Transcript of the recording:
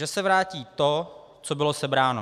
Že se vrátí to, co bylo sebráno.